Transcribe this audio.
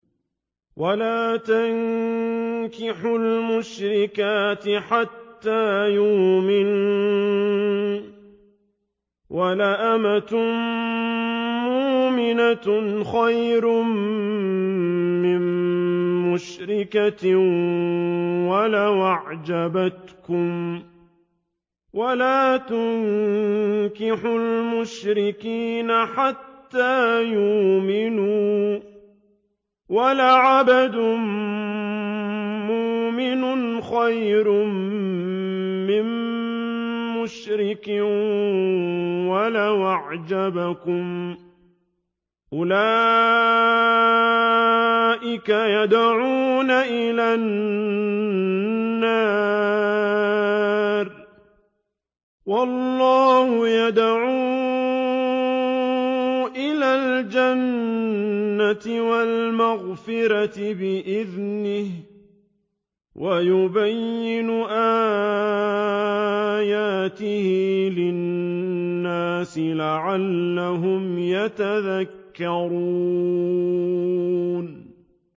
وَلَا تَنكِحُوا الْمُشْرِكَاتِ حَتَّىٰ يُؤْمِنَّ ۚ وَلَأَمَةٌ مُّؤْمِنَةٌ خَيْرٌ مِّن مُّشْرِكَةٍ وَلَوْ أَعْجَبَتْكُمْ ۗ وَلَا تُنكِحُوا الْمُشْرِكِينَ حَتَّىٰ يُؤْمِنُوا ۚ وَلَعَبْدٌ مُّؤْمِنٌ خَيْرٌ مِّن مُّشْرِكٍ وَلَوْ أَعْجَبَكُمْ ۗ أُولَٰئِكَ يَدْعُونَ إِلَى النَّارِ ۖ وَاللَّهُ يَدْعُو إِلَى الْجَنَّةِ وَالْمَغْفِرَةِ بِإِذْنِهِ ۖ وَيُبَيِّنُ آيَاتِهِ لِلنَّاسِ لَعَلَّهُمْ يَتَذَكَّرُونَ